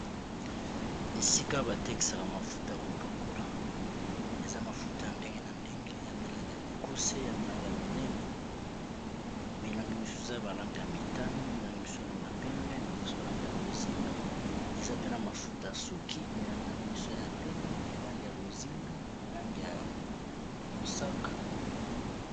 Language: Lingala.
Esika batekisaka mafuta ya kopakola eza mafuta ya ndenge na ndenge ya milangi ya mikuse ya milangi ya minene milangi misusu eza ya ba langi ya motane milangi misusu eza nalangi ya pembe milonga balanga ya bozinga eza pena mafuta ya suki milangi na yango misusa ya pembe ya lange ya bozinga yalangi ya mosaka